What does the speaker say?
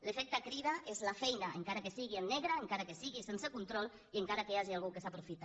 l’efecte crida és la feina encara que sigui en negre encara que sigui sense control i encara que hi hagi algú que se n’aprofita